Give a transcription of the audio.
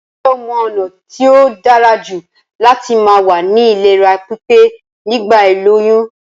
Njé o mo ònà t tóí dárajù láti ma wà ní ìlera pípé nígbà ìlóyún?